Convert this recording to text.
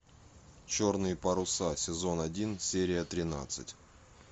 черные паруса сезон один серия тринадцать